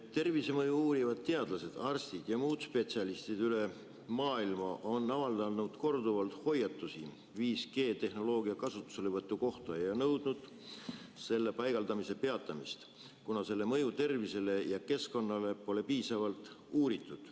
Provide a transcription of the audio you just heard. Tervisemõju uurivad teadlased, arstid ja muud spetsialistid üle maailma on avaldanud korduvalt hoiatusi 5G‑tehnoloogia kasutuselevõtu kohta ja nõudnud selle paigaldamise peatamist, kuna selle mõju tervisele ja keskkonnale pole piisavalt uuritud.